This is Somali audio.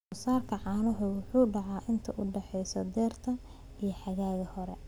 Soosaarka caanuhu wuxuu dhacaa inta u dhaxaysa dayrta iyo xagaaga hore